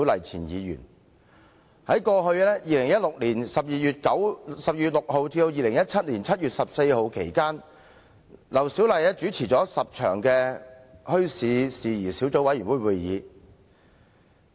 在2016年12月6日至2017年7月14日期間，劉小麗主持了10次墟市事宜小組委員會會議。